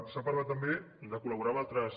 s’ha parlat també de col·laborar amb altres